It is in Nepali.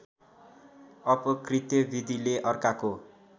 अपकृत्य विधिले अर्काको